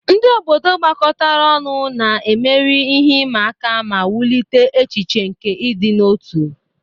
Ndị obodo gbakọtara ọnụ, na-emeri ihe ịma aka ma wulite echiche nke ịdị n'otu.